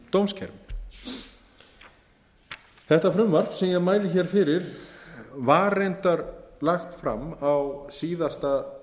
í gegnum dómskerfið þetta frumvarp sem ég mæli fyrir var reyndar lagt fram á síðasta